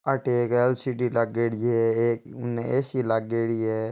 अठे एक एल_सी_डी लागोड़ी है उनने एक ऐ_सी लागेडी है।